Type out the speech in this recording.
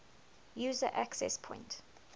user access point